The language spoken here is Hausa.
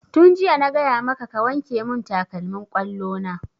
Tun jiya na gaya maka ka wanke mun takalmin ƙwallo na!